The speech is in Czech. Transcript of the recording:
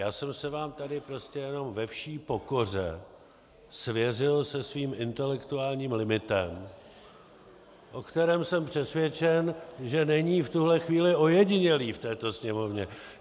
Já jsem se vám tady prostě jenom ve vší pokoře svěřil se svým intelektuálním limitem, o kterém jsem přesvědčen, že není v tuhle chvíli ojedinělý v této sněmovně.